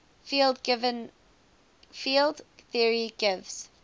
field theory gives